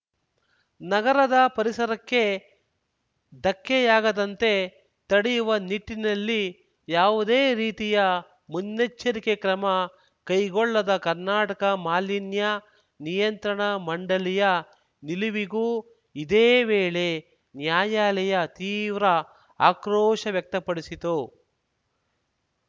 ನಗರದ ಪರಿಸರಕ್ಕೆ ಧಕ್ಕೆಯಾಗದಂತೆ ತಡೆಯುವ ನಿಟ್ಟಿನಲ್ಲಿ ಯಾವುದೇ ರೀತಿಯ ಮುನ್ನೆಚ್ಚರಿಕೆ ಕ್ರಮ ಕೈಗೊಳ್ಳದ ಕರ್ನಾಟಕ ಮಾಲಿನ್ಯ ನಿಯಂತ್ರಣ ಮಂಡಳಿಯ ನಿಲುವಿಗೂ ಇದೇ ವೇಳೆ ನ್ಯಾಯಾಲಯ ತೀವ್ರ ಆಕ್ರೋಶ ವ್ಯಕ್ತಪಡಿಸಿತು